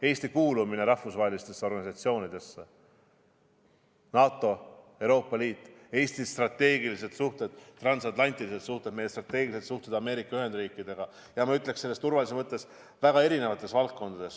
Eesti kuulumine rahvusvahelistesse organisatsioonidesse –NATO, Euroopa Liit –, Eesti strateegilised suhted, transatlantilised suhted, meie strateegilised suhted Ameerika Ühendriikidega ja seda, ma ütleksin, turvalisuse mõttes väga erinevates valdkondades.